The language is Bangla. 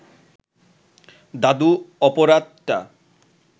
দাদু অপরাধটা